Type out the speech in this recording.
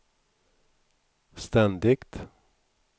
ständigt